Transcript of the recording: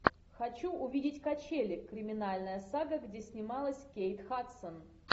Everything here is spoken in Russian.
хочу увидеть качели криминальная сага где снималась кейт хадсон